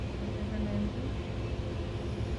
Atebenin kiy?